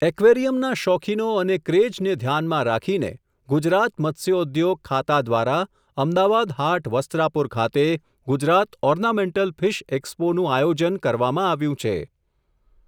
એકવેરીયમના શોખીનો અને ક્રેઝને ઘ્યાનમાં રાખીને, ગુજરાત મત્સ્યો ઉદ્યોગ ખાતા દ્વારા, અમદાવાદ હાટ વસ્ત્રાપુર ખાતે, ગુજરાત ઓર્નામેન્ટલ ફીશ એક્સપોનું આયોજન કરવામાં આવ્યું છે.